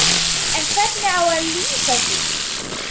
En hvernig á að LÝSA því?